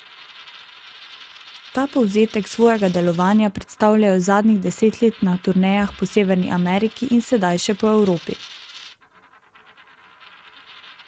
Ta povzetek svojega delovanja predstavljajo zadnjih deset let na turnejah po Severni Ameriki in sedaj še po Evropi.